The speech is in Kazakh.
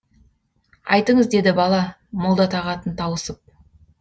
айтыңыз деді бала молда тағатын тауысып